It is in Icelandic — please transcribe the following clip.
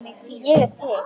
Ég er til